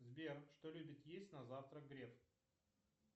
сбер что любит есть на завтрак греф